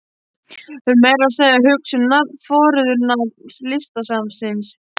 Fer meira að segja að hugsa um nafn forstöðumanns Listasafnsins.